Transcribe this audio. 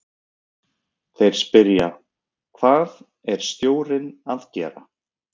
Þeir spyrja: Hvað er stjórinn að gera?